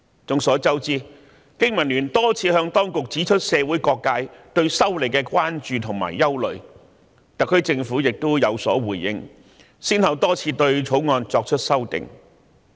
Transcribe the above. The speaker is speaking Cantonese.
眾所周知，香港經濟民生聯盟曾多次向當局指出社會各界對修例的關注和憂慮，而特區政府亦有所回應，先後對《條例草案》作出修訂。